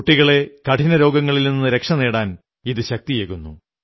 കുട്ടികളെ കഠിനരോഗങ്ങളിൽ നിന്നു രക്ഷപ്പെടാൻ ഇതു ശക്തിയേകുന്നു